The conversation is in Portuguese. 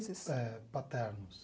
É, paternos.